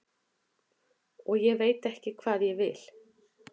og ég veit ekki hvað ég vil.